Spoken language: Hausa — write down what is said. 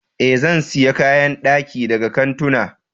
Ee, zan sayi kayan daki daga kantuna.